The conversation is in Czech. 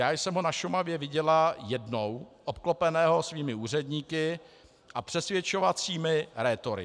Já jsem ho na Šumavě viděla jednou, obklopeného svými úředníky a přesvědčovacími rétory.